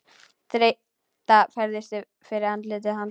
Þreyta færist yfir andlit hans.